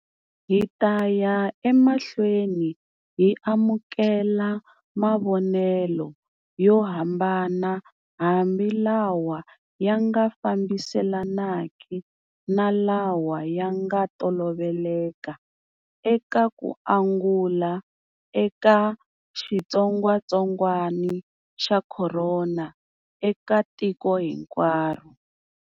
Hi ta ya emahlweni hi amukela mavonelo yo hambana hambi lawa ya nga fambiselaneki na lawa ya nga toloveleka eka ku angula eka xitsongwatsongwana xa corona eka tiko hinkwaro.